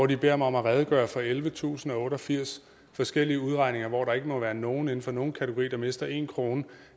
de beder mig om at redegøre for ellevetusinde og otteogfirs forskellige udregninger hvor der ikke må være nogen inden for nogen kategori der mister en krone